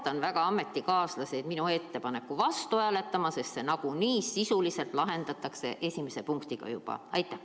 Ja palun väga ametikaaslasi minu ettepaneku vastu hääletada, sest see nagunii sisuliselt lahendatakse esimese muudatusettepanekuga juba ära.